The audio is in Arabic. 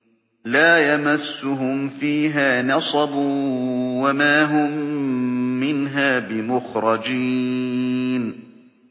لَا يَمَسُّهُمْ فِيهَا نَصَبٌ وَمَا هُم مِّنْهَا بِمُخْرَجِينَ